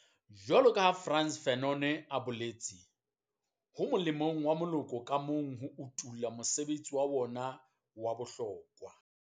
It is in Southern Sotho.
Jwaloka ha Frantz Fanon a boletse, ho molemong wa moloko ka mong ho utolla mosebetsi wa ona wa bohlokwa.